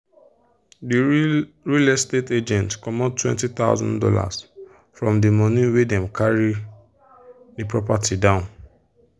the real real estate agent comot two thousand dollars0 from the money wey them carry the property down.